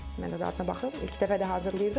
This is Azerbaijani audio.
Mən də dadına baxım, ilk dəfə də hazırlayırdım.